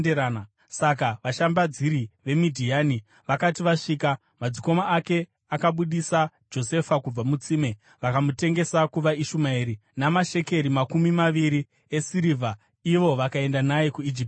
Saka vashambadziri veMidhiani vakati vasvika, madzikoma ake akabudisa Josefa kubva mutsime vakamutengesa kuvaIshumaeri namashekeri makumi maviri esirivha, ivo vakaenda naye kuIjipiti.